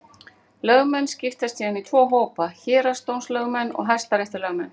Lögmenn skiptast síðan í tvo hópa: Héraðsdómslögmenn og hæstaréttarlögmenn.